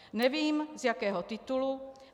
Nevím, z jakého titulu.